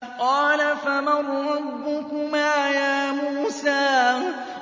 قَالَ فَمَن رَّبُّكُمَا يَا مُوسَىٰ